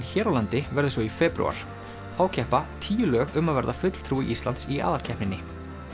hér á landi verður svo í febrúar þá keppa tíu lög um að verða fulltrúi Íslands í aðalkeppninni